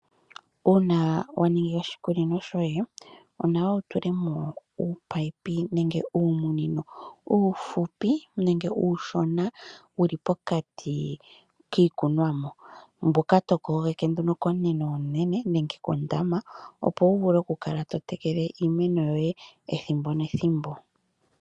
Uuna wa ningi oshikunino shoye onawa wu tule mo uumunino uufupi nenge uushona wuli pokati kiikunonwa mboka to kogeke nduno komunino omunene nenge kondama opo wu vule oku kala to tekele iimeno yoye ethimbo nethimbo.